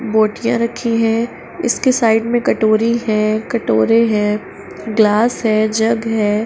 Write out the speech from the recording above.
बोटियां रक्खी हैं। इसके साइड में कटोरी है कटोरे हैं ग्लास है जग है।